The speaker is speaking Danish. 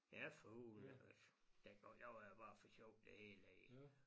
Ja for hulen da også dengang jeg var der bare for sjov det hele